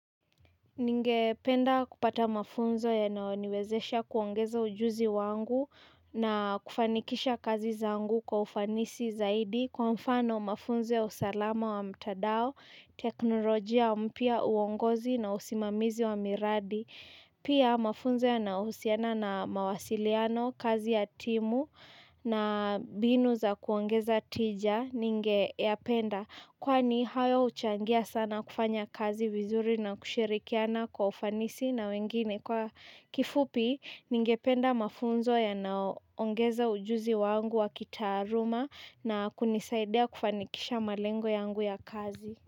Ningependa kupata mafunzo yanayoniwezesha kuongeza ujuzi wangu na kufanikisha kazi zangu kwa ufanisi zaidi. Kwa mfano mafunzo ya usalama wa mtandao, teknolojia mpya uongozi na usimamizi wa miradi. Pia mafunzo ya nausiana na mawasiliano, kazi ya timu na mbinu za kuongeza tija ningeyapenda. Kwani hayo huchangia sana kufanya kazi vizuri na kushirikiana kwa ufanisi na wengine kwa kifupi ningependa mafunzo yanayo ongeza ujuzi wangu wa kitaaluma na kunisaidia kufanikisha malengo yangu ya kazi.